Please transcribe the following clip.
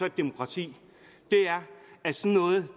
et demokrati